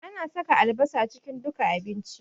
Ana saka albasa cikin duka abinci